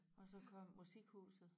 Og så kom musikhuset